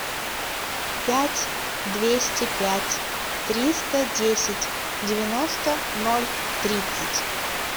пять двести пять триста десять девяносто ноль тридцать